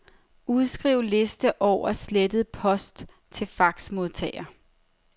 Udskriv liste over slettet post til faxmodtager.